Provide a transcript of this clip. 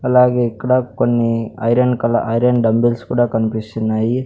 అలాగే ఇక్కడ కొన్ని ఐరన్ కలర్ ఐరన్ డబుల్స్ కూడా కనిపిస్తున్నాయి.